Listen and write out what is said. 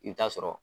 I bɛ taa sɔrɔ